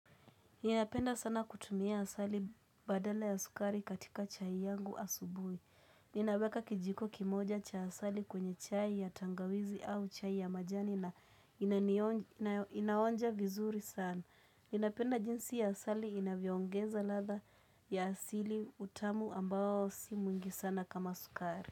Ninapenda sana kutumia asali badala ya sukari katika chai yangu asubuhi. Ninaweka kijiko kimoja cha asali kwenye chai ya tangawizi au chai ya majani na inanionj inayo inaonja vizuri sana. Ninapenda jinsi ya asali inavyoongeza ladha ya asili utamu ambao si mwingi sana kama sukari.